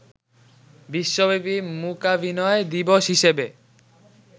বিশ্বব্যাপী মূকাভিনয় দিবস হিসেবে